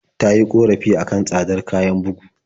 Ta yi ƙorafi a kan tsadar kayan bugu.